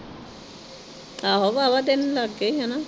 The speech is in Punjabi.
ਆਹੋ ਵਾਵਾ ਦਿਨ ਲੱਗਗੇ ਹਨਾਂ।